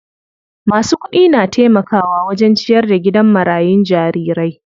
Masu kudi na taimakawa wajen ciyar da gidan marayun jarirai.